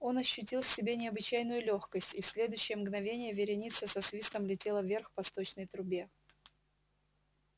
он ощутил в себе необычайную лёгкость и в следующее мгновение вереница со свистом летела вверх по сточной трубе